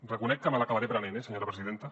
reconec que me l’acabaré aprenent eh senyora presidenta